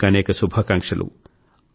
అనేకానేక శుభాకాంక్షలు